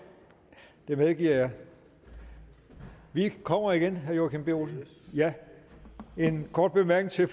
det medgiver jeg vi kommer igen herre joachim b olsen en kort bemærkning